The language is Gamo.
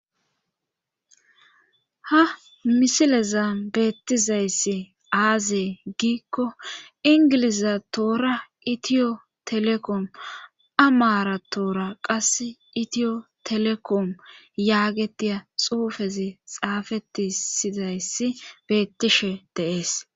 ha misileza beettizayssi aazee giikko ingilizatoora itiyo telekom amaaratoora qas itiyo telekom yaagetiya xuufezi xaafetisizayssi beettishe deees